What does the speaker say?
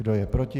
Kdo je proti?